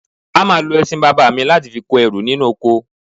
A máa lo ẹṣin bàbá mi láti fi kó ẹrù nínú oko